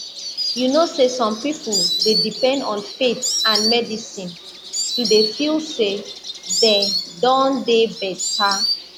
you know say some people dey depend on faith and medicine to dey feel say dey don dey better